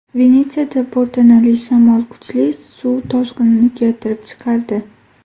Venetsiyada po‘rtanali shamol kuchli suv toshqinini keltirib chiqardi.